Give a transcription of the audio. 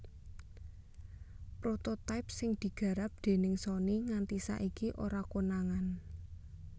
Prototype sing digarap dèning Sony nganti saiki ora konangan